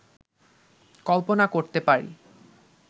কল্পনা করতে পারি